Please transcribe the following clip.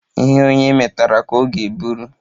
Ihe onye metara ka ọ ga-eburu